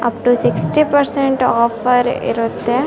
Up to sixty percent offer ಇರುತ್ತೆ.